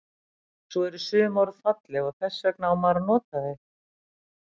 Svo eru sum orð falleg og þess vegna á maður að nota þau.